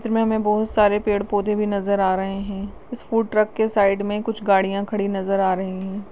इस चित्र में हमे बहुत सारे पेड़ पौधे भी नजर आ रहे है इस फूड ट्रक के साइड में कुछ गाड़िया खड़ी नजर आ रही है।